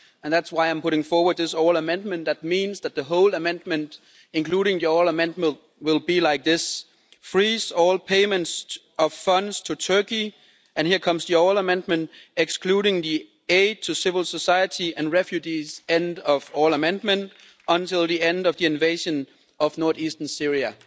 That's why I'm putting forward this oral amendment that means that the whole amendment, including the oral amendment, will be like this freeze all payments of funds to Turkey' and here comes the oral amendment excluding the aid to civil society and refugees' end of oral amendment until the end of the invasion of north eastern Syria'.